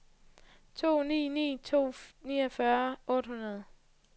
to ni ni to niogfyrre otte hundrede